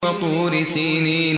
وَطُورِ سِينِينَ